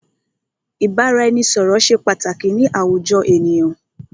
Ìbáraẹnisọ̀rọ̀ ṣé pàtàkì ni àwùjọ ènìyàn.